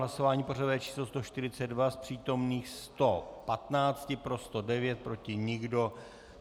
Hlasování pořadové číslo 142, z přítomných 115 pro 109, proti nikdo.